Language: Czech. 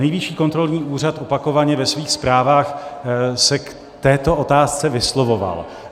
Nejvyšší kontrolní úřad opakovaně ve svých zprávách se k této otázce vyslovoval.